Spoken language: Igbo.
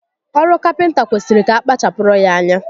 Oru Kapịnta kwesịrị ka akpachapụrụ ya ányá